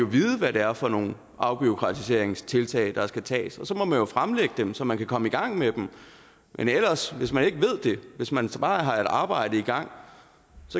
vide hvad det er for nogle afbureaukratiseringstiltag der skal tages og så må man fremlægge dem så man kan komme i gang med dem men hvis man ikke ved det hvis man bare har et arbejde i gang